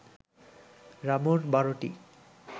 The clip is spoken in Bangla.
রামুর ১২টি